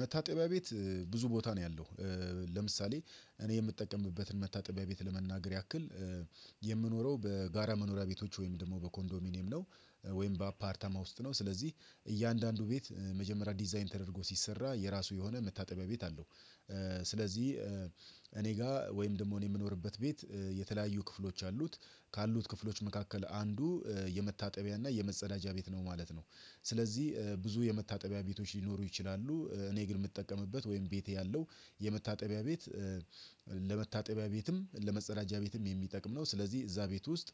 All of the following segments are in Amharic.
መታጠቢያ ቤት ብዙ ቦታ ነው ያለው። ለምሳሌ እኔ የምጠቀምበትን መታጠቢያ ቤት ለመናገር ያክል የምኖረው በጋራ መኖሪያ ቤቶች ወይም ደግሞ በኮንዶሚኒየም ነው። ወይም በአፓርታማ ውስጥ ነው ስለዚህ እያንዳንዱ ቤት መጀመሪያ ዲዛይን ተደርጎ ሲሰራ የራሱ የሆነ መታጠቢያ ቤት አለው። ስለዚህ እኔ ጋር ወይም ደግሞ የምኖርበት ቤት የተለያዩ ክፍሎች አሉት ካሉት ክፍሎች መካከል አንዱ የመታጠቢያና የመጸዳጃ ቤት ነው ማለት ነው። ስለዚህ ብዙ የመታጠቢያ ቤቶች ሊኖሩ ይችላሉ እኔ ግን የምጠቀምበት ወይም ቤቴ ያለው የመታጠቢያ ቤት። ለመታጠቢያ ቤትም ለመጸዳጃ ቤትም የሚጠቅም ነው ስለዚህ እዛ ቤት ውስጥ።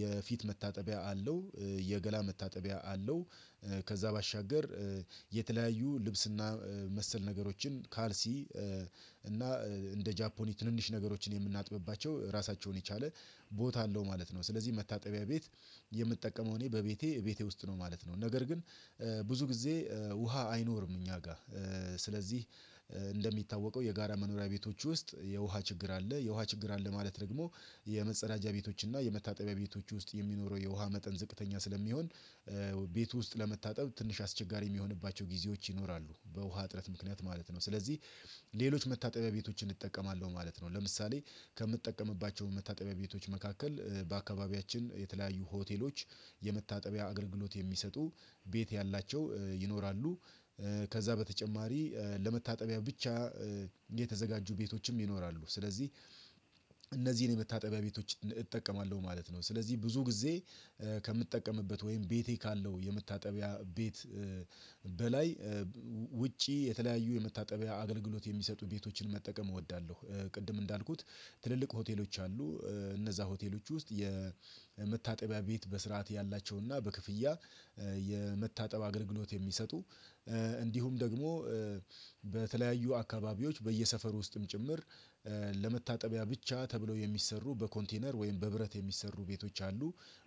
የፊት መታጠቢያ አለው። የገላ መታጠቢያ አለው። ከዛ ባሻገር የተለያዩ ልብስና መሰል ነገሮችን ካልሲ እና እንደ ጃፖኒ ትንንሽ ነገሮችን የምናጥብባቸው ራሳቸውን የቻለ ቦታ አለው ማለት ነው ስለዚህ መታጠቢያ ቤት። የምትጠቀመው እኔ በቤቴ ቤቴ ውስጥ ነው ማለት ነው። ነገር ግን ብዙ ጊዜ ውሃ አይኖርም እኛ ጋር። እንደሚታወቀው የጋራ መኖሪያ ቤቶች ውስጥ የውሃ ችግር አለ የውሃ ችግር አለ ማለት። ደግሞ የመጸዳጃ ቤቶች እና የመታጠቢያ ቤቶች ውስጥ የሚኖረው የውሃ መጠን ዝቅተኛ ስለሚሆን። ቤት ውስጥ ለመታጠብ ትንሽ አስቸጋሪ የሚሆንባቸው ጊዜዎች ይኖራሉ በውሃ እጥረት ምክንያት ማለት ነው። ስለዚህ ሌሎች መታጠቢያ ቤቶችን እጠቀማለሁ ማለት ነው። ለምሳሌ ከምትጠቀምባቸው መታጠቢያ ቤቶች መካከል በአካባቢያችን የተለያዩ ሆቴሎች የመታጠቢያ አገልግሎት የሚሰጡ ቤት ያላቸው ይኖራሉ። ከዛ በተጨማሪ ለመታጠቢያ ብቻ የተዘጋጁ ቤቶችም ይኖራሉ። ስለዚህ እነዚህን የመታጠቢያ ቤቶች እጠቀማለሁ ማለት ነው። ስለዚህ ብዙ ጊዜ ከምጠቀምበት ወይም ቤቴ ካለው የምታጠቢያ ቤት በላይ ውጪ የተለያዩ የመታጠቢያ አገልግሎት የሚሰጡ ቤቶችን መጠቀም እወዳለሁ። ቅድም እንዳልኩት ትልልቅ ሆቴሎች አሉ እነዛ ሆቴሎች ውስጥ የመታጠቢያ ቤት በስርዓት ያላቸውና በክፍያ የመታጠብ አገልግሎት የሚሰጡ። እንዲሁም ደግሞ በተለያዩ አካባቢዎች በየሰፈር ውስጥም ጭምር ለመታጠቢያ ብቻ ተብለው የሚሰሩ በኮንቴነር ወይም በብረት የሚሰሩ ቤቶች አሉ።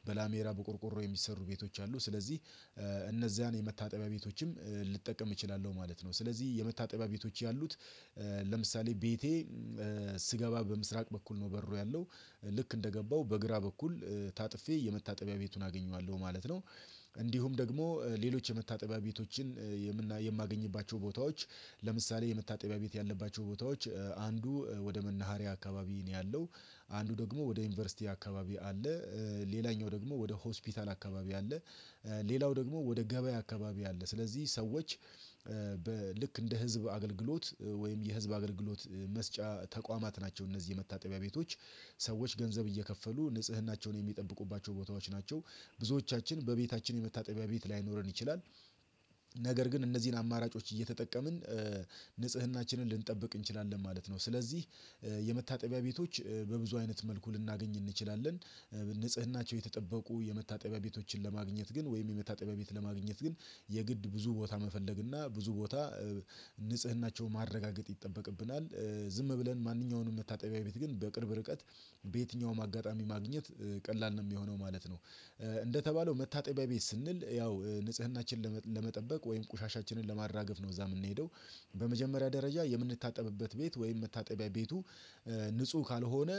በላሜራ በቆርቆሮ የሚሰሩ ቤቶች አሉ ስለዚህ እነዚያን የመታጠቢያ ቤቶችም ልጠቀም እችላለሁ ማለት ነው። ስለዚህ የመታጠቢያ ቤቶች ያሉት ለምሳሌ ቤቴ ስገባ በምስራቅ በኩል ነው በሩ ያለው ልክ እንደገባው በግራ በኩል ታጥፌ የመታጠቢያ ቤቱን አገኘዋለሁ ማለት ነው። እንዲሁም ደግሞ ሌሎች የመታጠቢያ ቤቶችን የማገኝባቸው ቦታዎች ለምሳሌ የመታጠቢያ ቤት ያለባቸው ቦታዎች አንዱ ወደ መናሃሪያ አካባቢ ነው ያለው። አንዱ ደግሞ ወደ ዩኒቨርሲቲ አካባቢ አለ። ሌላኛው ደግሞ ወደ ሆስፒታል አካባቢ አለ። ሌላው ደግሞ ወደ ገበያ አካባቢ አለ። ስለዚህ ሰዎች እንደ ህዝብ አገልግሎት ወይም የህዝብ አገልግሎት መስጫ ተቋማት ናቸው እነዚህ የመታጠቢያ ቤቶች ሰዎች ገንዘብ እየከፈሉ ንጽህናቸውን የሚጠብቁባቸው ቦታዎች ናቸው። ብዙዎቻችን በቤታችን የመታጠቢያ ቤት ላይኖረን ይችላል ነገር ግን እነዚህን አማራጮች እየተጠቀምን ንጽህናችንን ልንጠብቅ እንችላለን ማለት ነው። ስለዚህ የመታጠቢያ ቤቶች በብዙ አይነት መልኩ ልናገኝ እንችላለን። ንጽህናቸው የተጠበቁ የመታጠቢያ ቤቶችን ለማግኘት ግን ወይም የመታጠቢያ ቤት ለማግኘት ግን የግድ ብዙ ቦታ መፈለግና ብዙ ቦታ ንጽህናቸውን ማረጋገጥ ይጠበቅብናል። ዝም ብለን ማንኛውንም መታጠቢያ ቤት ግን በቅርብ ርቀት በየትኛውም አጋጣሚ ማግኘት ቀላል ነው የሚሆነው ማለት ነው። እንደተባለው መታጠቢያ ቤት ስንል ያው ንጽህናችንን ለመጠበቅ ወይም ቆሻሻችንን ለማራገፍ ነው እዛ የምንሄደው። በመጀመሪያ ደረጃ የምንታጠብበት ቤት ወይም መታጠቢያ ቤቱ ንጹህ ካልሆነ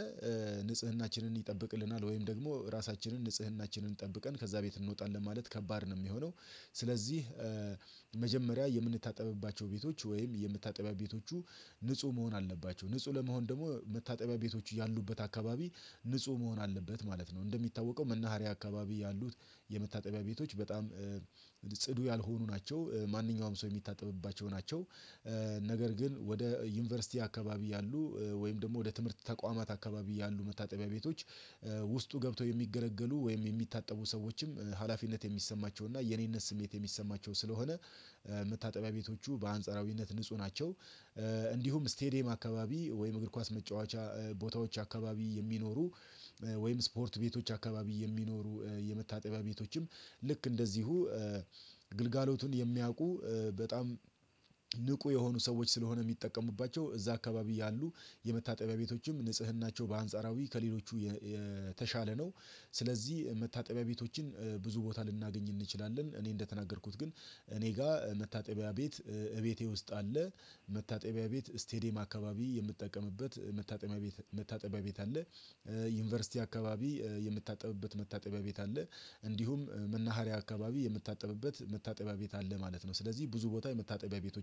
ንጽህናችንን ይጠብቅልናል ወይም ደግሞ ራሳችንን ንጽህናችንን ጠብቀን ከዛ ቤት እንወጣለን ማለት ከባድ ነው የሚሆነው። ስለዚህ መጀመሪያ የምንታጠብባቸው ቤቶች ወይም የምታጠቢያ ቤቶቹ ንጹህ መሆን አለባቸው ንጹህ ለመሆን ደግሞ መታጠቢያ ቤቶች ያሉበት አካባቢ ንጹህ መሆን አለበት ማለት ነው። እንደሚታወቀው መናሃሪያ አካባቢ ያሉት የመታጠቢያ ቤቶች በጣም ጽዱ ያልሆኑ ናቸው። ማንኛውም ሰው የሚታጠብባቸው ናቸው። ነገር ግን ወደ ዩኒቨርሲቲ አካባቢ ያሉ ወይም ደግሞ ወደ ትምህርት ተቋማት አካባቢ ያሉ መታጠቢያ ቤቶች ውስጡ ገብተው የሚገለገሉ ወይም የሚታጠቡ ሰዎችም ሀላፊነት የሚሰማቸውና የኔነት ስሜት የሚሰማቸው ስለሆነ መታጠቢያ ቤቶቹ በአንጻራዊነት ንጹህ ናቸው። እንዲሁም ስቴዲየም አካባቢ ወይም እግር ኳስ መጫወቻ ቦታዎች አካባቢ የሚኖሩ ወይም ስፖርት ቤቶች አካባቢ የሚኖሩ የመታጠቢያ ቤቶችም ልክ እንደዚሁ ግልጋሎቱን የሚያውቁ በጣም ንቁ የሆኑ ሰዎች ስለሆነ የሚጠቀሙባቸው እዛ አካባቢ ያሉ የመታጠቢያ ቤቶችም ንጽህናቸው በአንጻራዊ ከሌሎቹ የተሻለ ነው። ስለዚህ መታጠቢያ ቤቶችን ብዙ ቦታ ልናገኝ እንችላለን እኔ እንደተናገርኩት ግን እኔ ጋር መታጠቢያ ቤት እቤቴ ውስጥ አለ። መታጠቢያ ቤት ስቴዲየም አካባቢ የምጠቀምበት መታጠቢያ መታጠቢያ ቤት አለ። ዩኒቨርሲቲ አካባቢ የምታጠብበት መታጠቢያ ቤት አለ። እንዲሁም መናሃሪያ አካባቢ የምታጠብበት የምታጠቢያ ቤት አለ ማለት ነው። ስለዚህ ብዙ ቦታ የምታጠቢያ ቤቶች